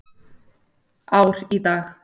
Ár í dag.